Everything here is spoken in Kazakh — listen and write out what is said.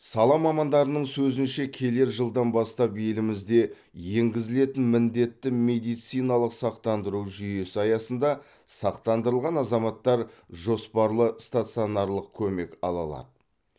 сала мамандарының сөзінше келер жылдан бастап елімізде енгізілетін міндетті медициналық сақтандыру жүйесі аясында сақтандырылған азаматтар жоспарлы стационарлық көмек ала алады